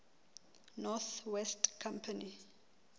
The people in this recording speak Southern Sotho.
north west company